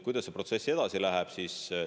Kuidas see protsess edasi läheb?